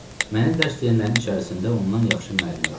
Mənə dərs deyənlərin içərisində ondan yaxşı müəllim yox idi.